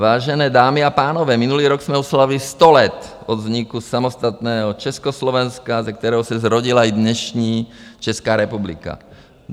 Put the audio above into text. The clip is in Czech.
Vážené dámy a pánové, minulý rok jsme oslavili 100 let od vzniku samostatného Československa, ze kterého se zrodila i dnešní Česká republika.